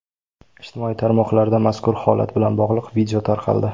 Ijtimoiy tarmoqlarda mazkur holat bilan bog‘liq video tarqaldi.